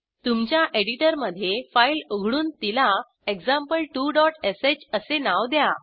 तुमच्या एडिटरमधे फाईल उघडून तिला example2shअसे नाव द्या